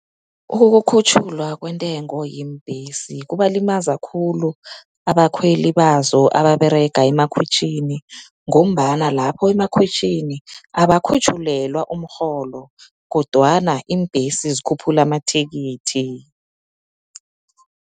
Ukukhutjhulwa kwentengo yeembhesi kubalimaza khulu abakhweli bazo, ababerega emakhwitjhini, ngombana lapho emakhwitjhini, abakhutjhulelwa umrholo, kodwana iimbhesi zikhuphula amathikithi.